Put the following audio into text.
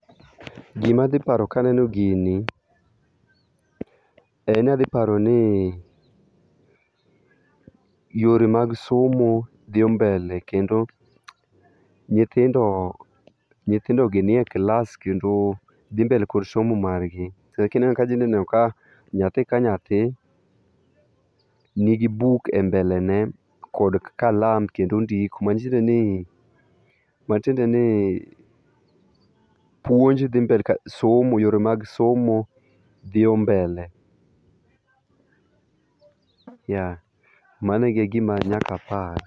Gima adhi paro kaneno gini en ni adhi paro ni yore mag somo dhi mbele kendo nyithindo, nyithindo gi nie klas kendo dhi mbele[c]s gi somo margi. Kineno idhi neno ka nyathi ka nyathi nigi buk e mbele ne kod kalam kendo ondiko. Matiende ni, matiende ni puonjo dhi mbele ka, somo yore mag somo dhi [c]mbele. Mano e gima nyaka apar.